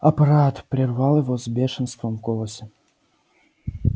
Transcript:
аппарат прервал его с бешенством в голосе